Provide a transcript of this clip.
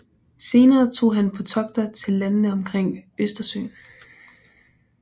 Senere tog han på togter til landene omkring Østersøen